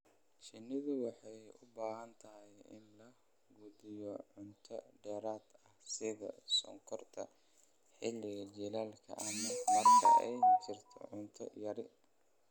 Shinnidu waxay u baahan tahay in la quudiyo cunto dheeraad ah sida sonkorta xilliga jiilaalka ama marka ay jirto cunto yari.